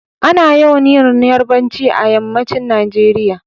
Ana yawan yin yarbanci a yammacin Nageriya